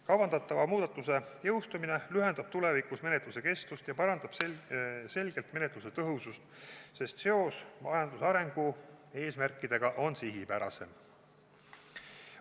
Kavandatava muudatuse jõustumine lühendab tulevikus menetluse kestust ja parandab selgelt menetluse tõhusust, sest seos majanduse arengu eesmärkidega on sihipärasem.